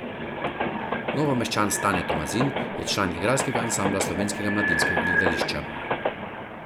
Novomeščan Stane Tomazin je član igralskega ansambla Slovenskega mladinskega gledališča.